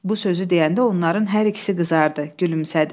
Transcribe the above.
Bu sözü deyəndə onların hər ikisi qızardı, gülümsədi.